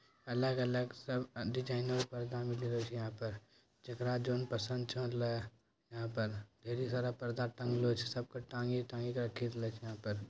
अलग-अलग सब डिजाइनर पर्दा मिली रहल छो यहां पर जकड़ा जोन पसंद छो लेय यहां पर ढेरी सारा पर्दा टंग लो छै यहां पर सबके टंगी-टंगी के रखी देला छै यहां पर ----